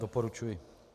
Doporučuji.